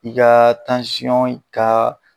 I ka in ka